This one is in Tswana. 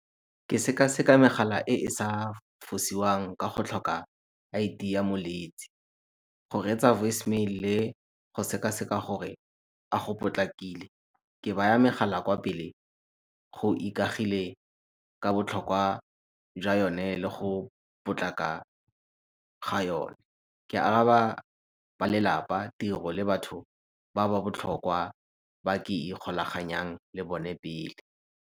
Ke sekaseka megala e e sa fosiwang ka go tlhoka I_D ya moletsi. Go reetsa voicemail le go sekaseka gore a go potlakile. Ke baya megala kwa pele go ikagile ka botlhokwa jwa yone le go potlaka ga yone. Ke araba ba lelapa, tiro le batho ba ba botlhokwa ba ke ikgolaganyang le bone pele.